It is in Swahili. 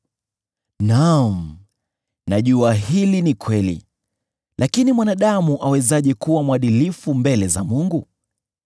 “Naam, najua hili ni kweli. Lakini mwanadamu awezaje kuwa mwadilifu mbele za Mungu?